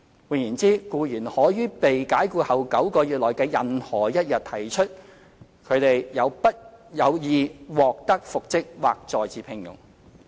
換言之，僱員可於被解僱後9個月內的任何一天提出他/她有意獲得復職或再次聘用。